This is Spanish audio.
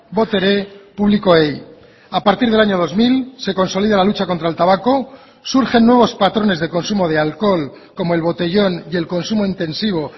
botere publikoei a partir del año dos mil se consolida la lucha contra el tabaco surgen nuevos patrones de consumo de alcohol como el botellón y el consumo intensivo